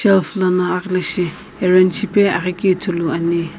elf lono aghile shi arrange shipe aghikeu ithuluani.